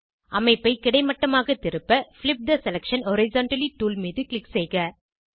அமைப்பை கிடைமட்டமாக திருப்ப flip the selection horizontally tool மீது க்ளிக் செய்க